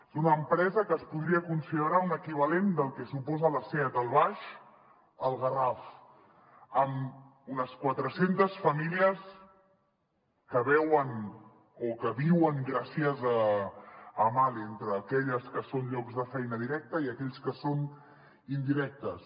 és una empresa que es podria considerar un equivalent del que suposa la seat al baix al garraf amb unes quatre centes famílies que veuen o que viuen gràcies a mahle entre aquelles que són llocs de feina directa i aquells que són indirectes